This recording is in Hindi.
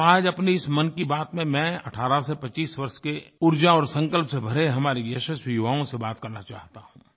और आज अपनी इस मन की बात में मैं 18 से 25 वर्ष के ऊर्जा और संकल्प से भरे हमारे यशस्वी युवाओं से बात करना चाहता हूँ